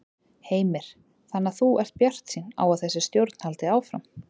Heimir: Þannig að þú ert bjartsýn á að þessi stjórn haldi áfram?